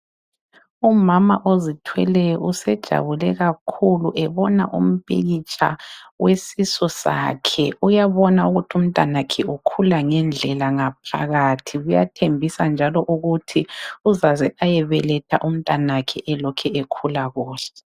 Umama ozithweleyo usejabule kakhulu ebona umpikitsha wesisu sakhe uyabona ukuthi umntanakhe ukhula ngendlela ngaphakathi kuyathembisa njalo ukuthi uzaze ayebeletha njalo umntanakhe elokhe ekhula kuhle.